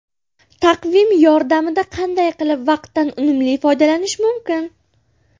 Taqvim yordamida qanday qilib vaqtdan unumli foydalanish mumkin?.